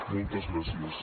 moltes gràcies